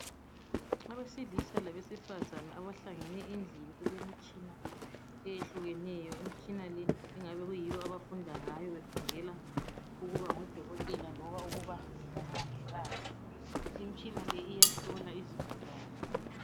Abesilisa labesifazana abahlangene endlini elemitshina eyehlukeneyo. Imitshina le kungabe kuyiyo abafunda ngayo befundela ukuba ngodokotela loba ukuba ngomongikazi. Imitshina le iyahlola izigulane.